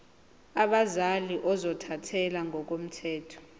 abazali ozothathele ngokomthetho